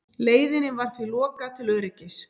Leiðinni var því lokað til öryggis